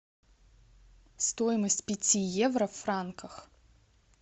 стоимость пяти евро в франках